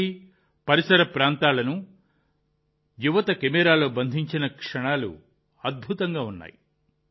కాశీ పరిసర ప్రాంతాల యువత కెమెరాలో బంధించిన క్షణాలు అద్భుతంగా ఉన్నాయి